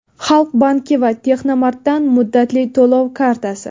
Xalq banki va Texnomart’dan muddatli to‘lov kartasi.